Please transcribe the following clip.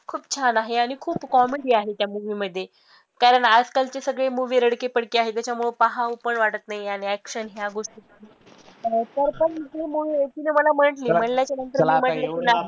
खूप छान आहे आणि खूप comedy आहे त्या movie मध्ये कारण आजकाल चे सगळे movie रडके पडके आहे, त्याच्यामुळे पाहावं पण वाटतं नाही आणि action ह्या गोष्टी तिने मला म्हंटली, म्हंटल्याच्या नंतर